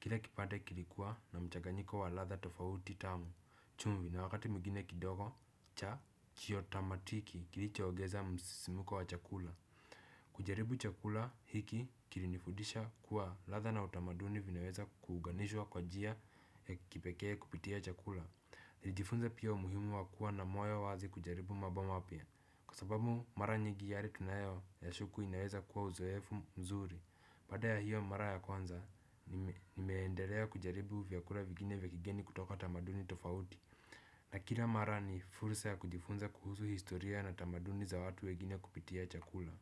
Kila kipande kilikuwa na mchaganyiko wa latha tofauti tamu. Chumvi na wakati mwingine kidogo cha chiyotamatiki kilicho ogeza msisimuko wa chakula. Kujaribu chakula hiki kilinifudisha kuwa latha na utamaduni vinaweza kuuganishwa kwa jia ya kipekee kupitia chakula. Nilijifunza pia umuhimu wakuwa na moyo wazi kujaribu mambo mapya. Kwa sababu mara nyigi yale tunayoyashuku inaweza kuwa uzoefu mzuri. Paada ya hiyo mara ya kwanza nimeendelea kujaribu vyakula vigine vya kigeni kutoka tamaduni tofauti. Na kila mara ni fulsa ya kujifunza kuhusu historia na tamaduni za watu wegine kupitia chakula.